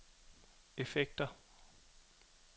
effekter